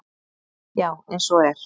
Já, eins og er.